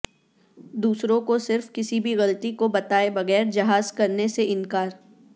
دوسروں کو صرف کسی بھی غلطی کو بتائے بغیر جہاز کرنے سے انکار